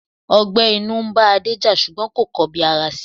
Ọgbẹ́ inú ń bá Adé jà, ṣùgbọ́n kò kọ bi ara si.